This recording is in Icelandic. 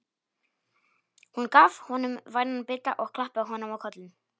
Hún gaf honum vænan bita og klappaði honum á kollinn.